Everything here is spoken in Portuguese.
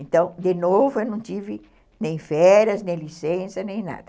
Então, de novo, eu não tive nem férias, nem licença, nem nada.